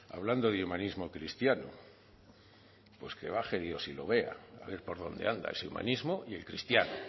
hablando de humanismo cristiano pues que baje dios y lo vea a ver por dónde anda ese humanismo y el cristiano